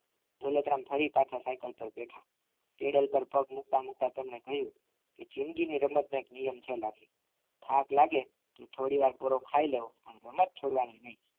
દોલતરામ ફરી પાછા સાયકલ પર બેઠા પેન્ડલ પર પગ મુકતા મુકતા તેમને કહ્યું કે જિંદગીની રમત નો એક નિયમ છે લાખી થાક લાગે થોડીવાર ખાઈ લેવો પાન રમત છોડવાની નહીં